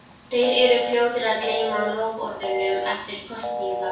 Þeir eru fljótir að gleyma loforðunum eftir kosningar.